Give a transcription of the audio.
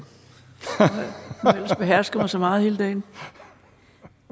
jeg behersket mig så meget hele dagen